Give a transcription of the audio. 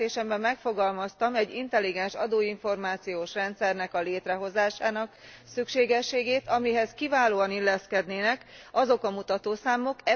Jelentésemben megfogalmaztam egy intelligens adóinformációs rendszer létrehozásának szükségességét, amelyhez kiválóan illeszkednének azok a mutatószámok.